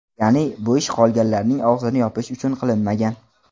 Ya’ni, bu ish qolganlarning og‘zini yopish uchun qilinmagan.